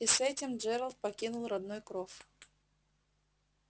и с этим джералд покинул родной кров